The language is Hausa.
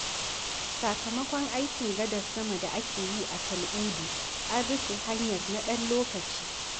Sakamakon aikin gadar sama da ake yi a Tal'udu, an rufe hanyar na ɗan lokaci.